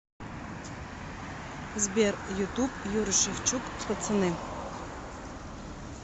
сбер ютуб юрий шевчук пацаны